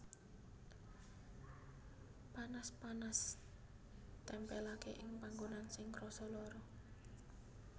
Panas panas tempèlaké ing panggonan sing krasa lara